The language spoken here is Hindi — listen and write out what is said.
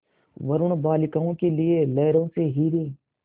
वरूण बालिकाओं के लिए लहरों से हीरे